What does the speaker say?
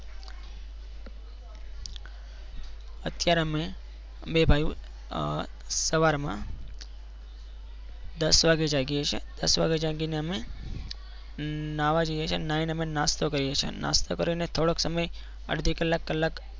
અત્યારે અમે બે ભાઈઓ આહ સવારમાં દસ વાગે જાગીએ છીએ દસ વાગે જાગીને અમે અમ નાવા જઈએ છીએ નાહીને નાસ્તો કરીએ છીએ અને નાસ્તો કરીને થોડોક સમય અડધી કલાક કલાક